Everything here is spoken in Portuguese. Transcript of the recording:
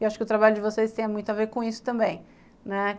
E acho que o trabalho de vocês tem muito a ver com isso também.